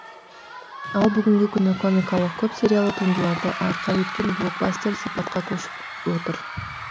ал бүгінгі күні комикалық көп сериялы туындыларды арқау еткен блокбастер сипатқа көшіп отыр